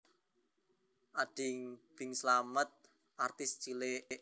Ading Bing Slamet wiwit dikenal nalika isih dadi artis cilik